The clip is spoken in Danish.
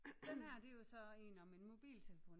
Den her det er jo så en om en mobiltelefon